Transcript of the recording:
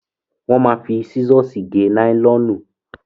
Wọn ma fi sísọ̀sì gé náílọ̀nù.